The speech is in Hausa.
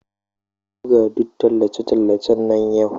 Ka buga duk tallace-tallace nan yau!